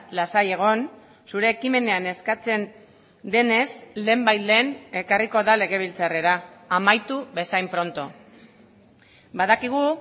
lasai egon zure ekimenean eskatzen denez lehenbailehen ekarriko da legebiltzarrera amaitu bezain pronto badakigu